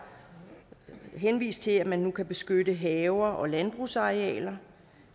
henvist til at man nu kan beskytte haver og landbrugsarealer